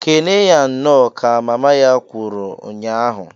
"Kenee ya Nnọọ!" ka mama ya kwuru nya ahụ.